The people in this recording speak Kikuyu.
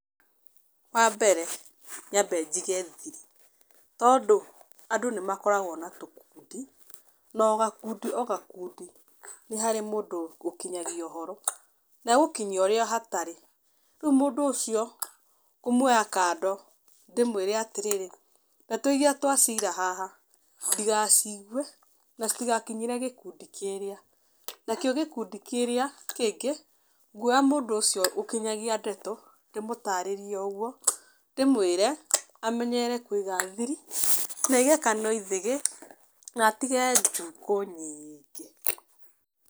Wa mbere, nyambe njige thiri, tondũ andũ nĩ makoragwo na tũkundi na o gakundi o gakundi nĩ harĩ mũndũ ũkinyagia ũhoro. Na egũkinyia ũrĩa hatarĩ, rĩu mũndũ ũcio ngũmuoya kando ndĩmũĩre atĩrĩrĩ, ndeto iria twacira haha ndigaciigue, na citigakinyĩre gĩkundi kĩrĩa, na kĩo gĩkundi kĩrĩa kĩngĩ nguoya mũndũ ũcio ũkinyagia ndeto ndĩmũtarĩrie o ũguo, ndĩmwĩre amenye kũiga thiiri na aige kanua ithĩgĩ na atige njukũ nyingĩ.